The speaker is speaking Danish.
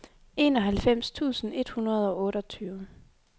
enoghalvfems tusind et hundrede og otteogtyve